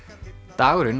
dagurinn